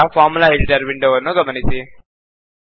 ಈಗ formula editor ವಿಂಡೋವನ್ನು ಗಮನಿಸಿ